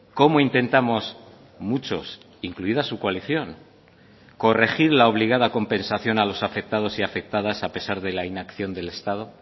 cómo intentamos muchos incluida su coalición corregir la obligada compensación a los afectados y afectadas a pesar de la inacción del estado